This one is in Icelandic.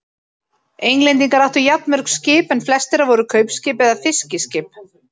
Englendingar áttu jafnmörg skip en flest þeirra voru kaupskip eða fiskiskip.